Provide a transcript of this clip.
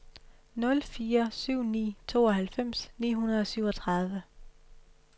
nul fire syv ni tooghalvfems ni hundrede og syvogtredive